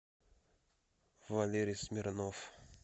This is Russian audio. валерий смирнов